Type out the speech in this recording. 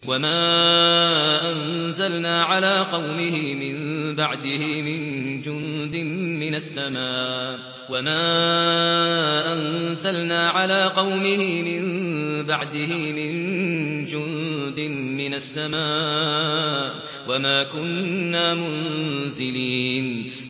۞ وَمَا أَنزَلْنَا عَلَىٰ قَوْمِهِ مِن بَعْدِهِ مِن جُندٍ مِّنَ السَّمَاءِ وَمَا كُنَّا مُنزِلِينَ